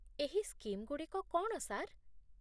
ଏହି ସ୍କିମ୍ଗୁଡ଼ିକ କ'ଣ, ସାର୍?